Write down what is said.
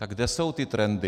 Tak kde jsou ty trendy?